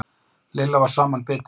Lilla var samanbitin.